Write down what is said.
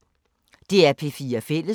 DR P4 Fælles